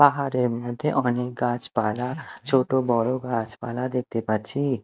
পাহাড়ের মধ্যে অনেক গাছপালা ছোট বড় গাছপালা দেখতে পাচ্ছি।